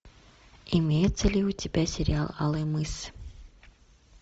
имеется ли у тебя сериал алый мыс